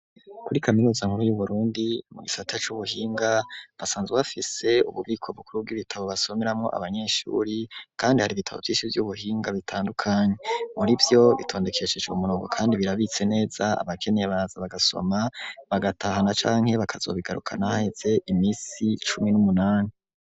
Kuri kaminuza nkuru y'Uburundi mu gisata c'ubuhinga, basanzwe bafise ububiko bukuru bw'ibitabo basomeramwo abanyeshuri, kandi har'ibitabo vyishi vy'ubuhinga bitandukanye, muri vyo bitondekesheje umurongo kandi birabitse neza, abakeneye baraza bagasoma, bagatahana canke bakazobigarukana haheze imisi cumi n'umunani.